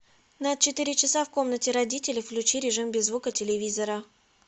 на четыре часа в комнате родителей включи режим без звука телевизора